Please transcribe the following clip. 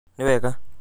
Nĩ wega